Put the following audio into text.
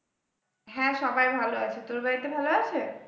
হ্যাঁ, সবাই ভালো আছে তোর বাড়িতে ভালো আছে?